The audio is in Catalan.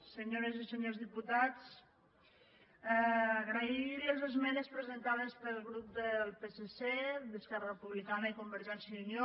senyores i senyors diputats agrair les esmenes presentades pel grup del psc d’esquerra republicana i convergència i unió